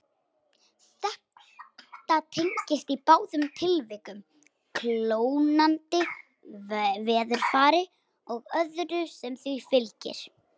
Þetta tengist í báðum tilvikum kólnandi veðurfari og öðru sem því fylgir.